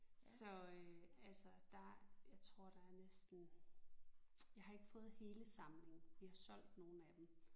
Så øh altså der jeg tror der er næsten jeg har ikke fået hele samlingen vi har solgt nogle af dem